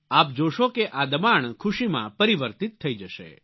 આપ જોશો કે આ દબાણ ખુશીમાં પરિવર્તિત થઈ જશે